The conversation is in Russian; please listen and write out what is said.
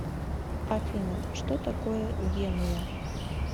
афина что такое генуя